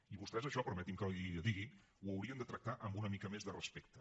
i vostès això permeti’m que li ho digui ho haurien de tractar amb una mica més de respecte